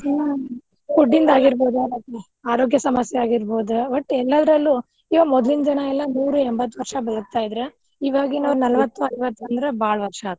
ಹ್ಮ್ food ಇಂದ್ ಆಗಿರ್ಬಹುದ್ ಆರೋಗ್ಯ ಸಮಸ್ಯೆ ಆಗಿರ್ಬಹುದ್ ಒಟ್ಟ್ ಎಲ್ಲದ್ರಲ್ಲು ಇವಾಗ ಮೊದ್ಲಿನ ಜನಾ ಎಲ್ಲಾ ನೂರು ಎಂಬತ್ತ ವರ್ಷಾ ಬದಕ್ತಾ ಇದ್ರ ನಾಲ್ವತ್ತು ಐವತ್ತು ಅಂದ್ರ ಬಾಳ ವರ್ಷಾ ಆತ್.